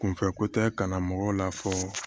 Kunfɛko tɛ ka na mɔgɔw la fɔ